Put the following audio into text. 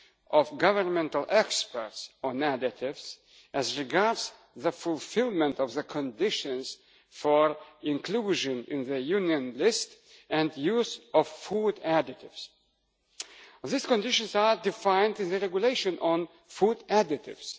of Governmental Experts on Additives as regards the fulfilment of the conditions for inclusion in the Union list and the use of food additives. These conditions are defined in the Regulation on Food Additives.